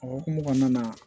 O hukumu kɔnɔna na